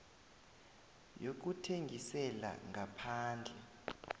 yokuthengisela ngaphandle